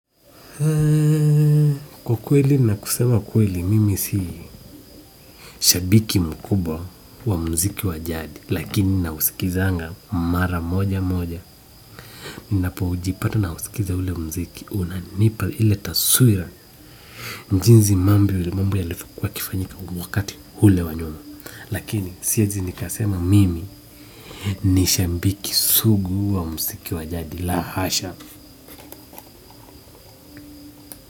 Kwa kweli na kusema kweli mimi si shabiki mkubwa wa muziki wa jadi. Lakini nausikizaga mara moja moja ninapo jipata nausikiza ule muziki, unanipa ili taswira jinsi mambo mambo yalivyokuwa yakifanyika wakati ule wa nyuma lakini siwezi nikasema mimi ni shabiki sugu wa muziki wa jadi la hasha!